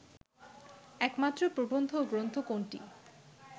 একমাত্র প্রবন্ধ গ্রন্থ কোনটি